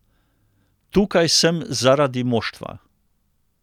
Tukaj sem zaradi moštva.